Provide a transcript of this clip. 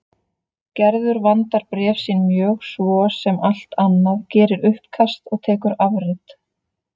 Gerður vandar bréf sín mjög svo sem allt annað, gerir uppkast og tekur afrit.